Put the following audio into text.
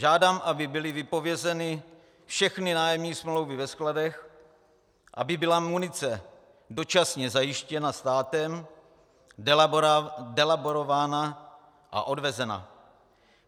Žádám, aby byly vypovězeny všechny nájemní smlouvy ve skladech, aby byla munice dočasně zajištěna státem, delaborována a odvezena.